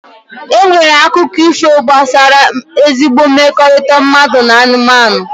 E nwere akụkọ ifo gbasara ezigbo mmekọrịta mmadụ na anụmanụ.